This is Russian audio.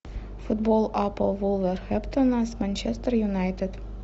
футбол апл вулверхэмптон с манчестер юнайтед